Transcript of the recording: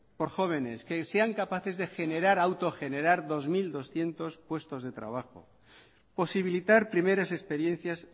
por jóvenes que sean capaces de generar autogenerar dos mil doscientos puestos de trabajo posibilitar primeras experiencias